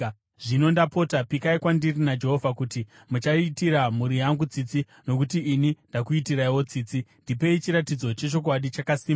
Zvino ndapota, pikai kwandiri naJehovha kuti muchaitira mhuri yangu tsitsi, nokuti ini ndakuitiraiwo tsitsi. Ndipei chiratidzo chechokwadi chakasimba